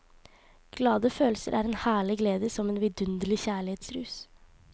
Glade følelser er en herlig glede som en vindunderlig kjærlighetsrus.